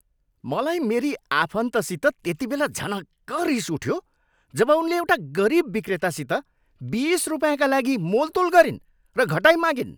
मलाई मेरी आफन्तसित त्यतिबेला झनक्क रिस उठ्यो जब उनले एउटा गरिब विक्रेतासित बिस रुपिँयाका लागि मोलतोल गरिन् र घटाइमागिन्।